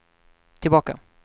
tillbaka